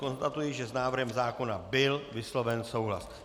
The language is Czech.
Konstatuji, že s návrhem zákona byl vysloven souhlas.